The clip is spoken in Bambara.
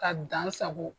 Ka dan sago